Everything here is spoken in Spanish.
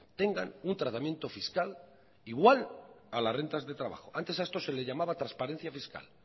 tengan un tratamiento fiscal igual a las rentas de trabajo antes a esto se le llamaba transparencia fiscal